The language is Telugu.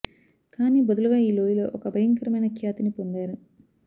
కానీ బదులుగా ఈ లోయలో ఒక భయంకరమైన ఖ్యాతిని పొందారు